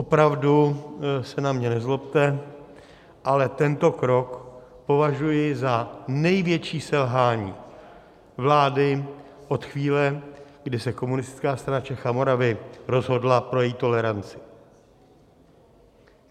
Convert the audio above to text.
Opravdu se na mě nezlobte, ale tento krok považuji za největší selhání vlády od chvíle, kdy se Komunistická strana Čech a Moravy rozhodla pro její toleranci.